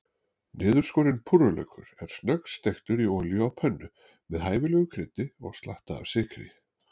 Niðurskorinn púrrulaukur er snöggsteiktur í olíu á pönnu, með hæfilegu kryddi og slatta af sykri.